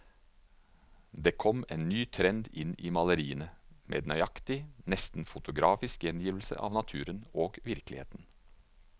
Det kom en ny trend inn i maleriene, med nøyaktig, nesten fotografisk gjengivelse av naturen og virkeligheten.